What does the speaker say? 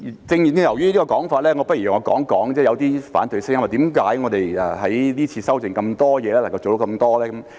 正正由於這個說法，我不如講一講有些反對聲音說，為何我們這次修訂這麼多東西，能夠做到這麼多？